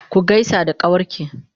ku gaisa da kawarki!